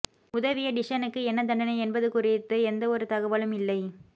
உதவிய டிஸ்ஸனுக்கு என்ன தண்டனை என்பது குறித்து எந்த ஒரு தகவலும் இல்லை